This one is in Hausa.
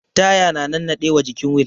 Taya na nannaɗe wa jikin wil